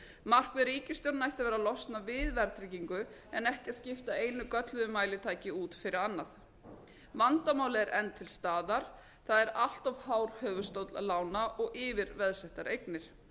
markmið ríkisstjórnarinnar ætti að vera að losna við verðtryggingu en ekki að skipta einu gölluðu mælitæki út fyrir annað vandamálið er enn til staðar það er allt hár höfuðstóll lána og yfirveðsettar eignir